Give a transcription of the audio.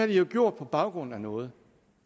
de jo gjort på baggrund af noget